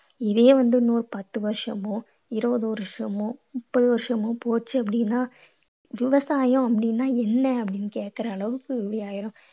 இதையே வந்து இன்னொரு பத்து வருஷமோ, இருபது வருஷமோ, முப்பது வருஷமோ போச்சு அப்படீன்னா விவசாயம் அப்படீன்னா என்ன அப்படீன்னு கேக்கற அளவுக்கு ஆயிரும்.